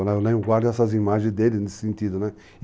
Eu ainda guardo essas imagens deles de sentido, né?